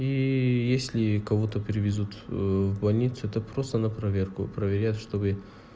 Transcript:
и если кого-то привезут в больницу это просто на проверку проверяет чтобы